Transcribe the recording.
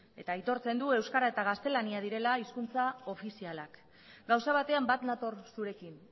eta aitortzen du euskara eta gaztelania direla hizkuntza ofizialak gauza batean bat nator zurekin